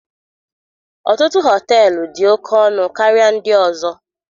Ọtụtụ họteelu dị oke ọnụ karịa ndị ọzọ.